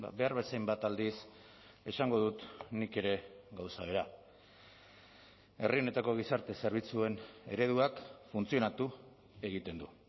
behar bezainbat aldiz esango dut nik ere gauza bera herri honetako gizarte zerbitzuen ereduak funtzionatu egiten du